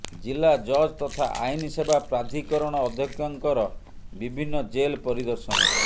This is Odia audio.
ଜିଲ୍ଲା ଜଜ୍ ତଥା ଆଇନ୍ ସେବା ପ୍ରାଧିକରଣ ଅଧ୍ୟକ୍ଷଙ୍କର ବିଭିନ୍ନ ଜେଲ୍ ପରିଦର୍ଶନ